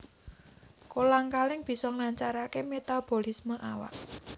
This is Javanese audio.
Kolang kaling bisa nglancaraké metabolisme awak